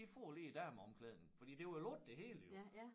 I får lige æ dameomklædning fordi det var jo lukket det hele jo